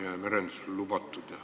Ma saan aru, et eelnõu on keeruline.